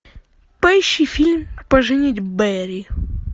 поищи фильм поженить бэрри